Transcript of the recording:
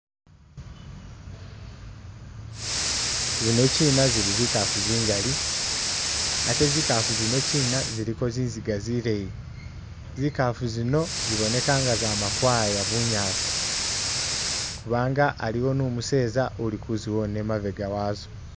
Zinokyina zili zikafu zingali ate zikafu zinokyina ziliko zinziga zileyi, zikafu zino ziboneka nga zama kwaya bunyasi kubanga aliwo ni umuseza uli kuziwona imabega wazo.